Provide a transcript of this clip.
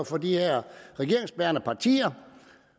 for de her regeringsbærende partier